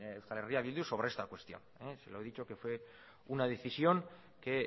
euskal herria bildu sobre esta cuestión se lo he dicho que fue una decisión que